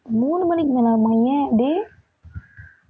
மூணு மணிக்கு மேலாகுமா ஏன் அப்படி?